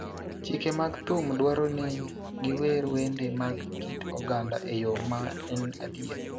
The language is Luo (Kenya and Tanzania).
Chike mag thum dwaro ni giwer wende mag kit oganda e yo ma en adier,